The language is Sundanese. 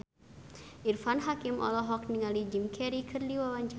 Irfan Hakim olohok ningali Jim Carey keur diwawancara